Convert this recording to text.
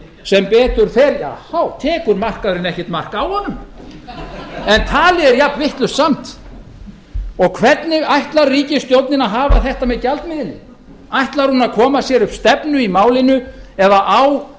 sem betur fer tekur markaðurinn ekkert mark á honum en talið er jafnvitlaust samt og hvernig ætlar ríkisstjórnin að hafa þetta með gjaldmiðilinn ætlar hún að koma sér upp stefnu í málinu eða á